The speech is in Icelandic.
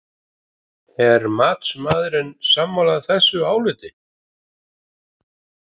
Er matsmaðurinn sammála þessu áliti?